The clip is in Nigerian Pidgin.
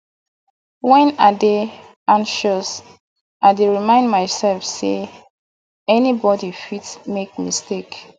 wen i dey anxious i dey remind mysef sey anybody fit make mistake